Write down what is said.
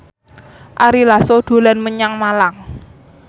Ari Lasso dolan menyang Malang